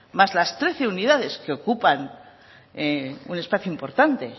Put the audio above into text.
más las trece unidades que ocupan un espacio importante